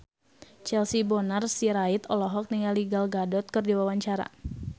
Charles Bonar Sirait olohok ningali Gal Gadot keur diwawancara